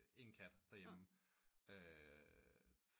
En kat der hjemme